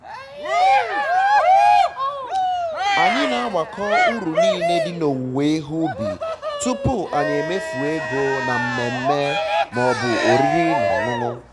anyị na agbakọ uru nile di n'owuwe ihe ubi tụpụ anyị emefuo ego na mmemme ma ọ bụ oriri-na-ọṅụṅụ